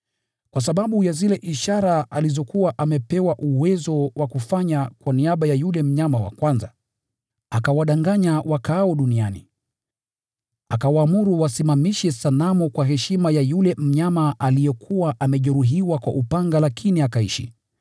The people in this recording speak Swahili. Kwa sababu ya zile ishara alizokuwa amepewa uwezo wa kuzifanya kwa niaba ya yule mnyama wa kwanza, akawadanganya wakaao duniani. Akawaamuru wasimamishe sanamu kwa heshima ya yule mnyama aliyekuwa amejeruhiwa kwa upanga lakini akaishi.